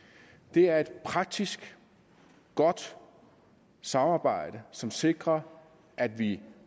det er et praktisk godt samarbejde som sikrer at vi